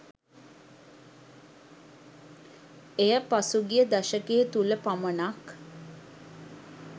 එය පසුගිය දශකය තුළ පමණක්